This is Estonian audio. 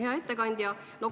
Hea ettekandja!